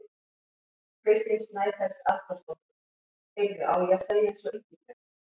Kristín Snæfells Arnþórsdóttir: Heyrðu, á ég að segja eins og Ingibjörg?